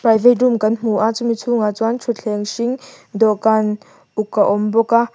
private room kan hmu a chumi chhungah chuan thutthleng hring dawhkan uk a awm bawk a.